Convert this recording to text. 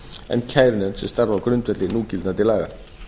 en kærunefnd sem starfi á grundvelli núgildandi laga